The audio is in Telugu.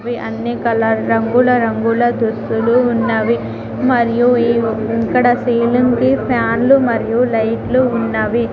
అన్ని కలర్ రంగుల రంగుల దుస్తులు ఉన్నవి మరియు ఇక్కడ సీలింగ్ కి ఫ్యాన్లు మరియు లైట్లు ఉన్నవి.